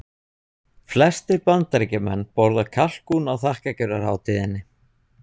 Flestir Bandaríkjamenn borða kalkún á þakkargjörðarhátíðinni.